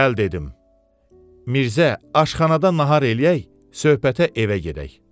Gəl dedim, Mirzə, aşxanada nahar eləyək, söhbətə evə gedək.